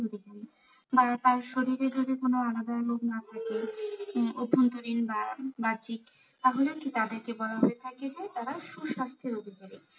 বা তার শরীরে যদি আলাদা কোনো রোগ না থাকে অভ্যন্তরীণ বা বাহ্যিক তাহলেও তাদের বলা হয়ে থাকে যে তারা সুস্বাস্থ্যের অধিকারী।